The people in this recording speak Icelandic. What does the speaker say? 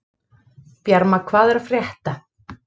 Bjarma, hvað er að frétta?